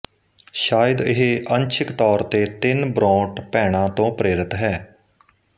ਸ਼ਾਇਦ ਇਹ ਅੰਸ਼ਿਕ ਤੌਰ ਤੇ ਤਿੰਨ ਬ੍ਰੋਂਟ ਭੈਣਾਂ ਤੋਂ ਪ੍ਰੇਰਿਤ ਹੈ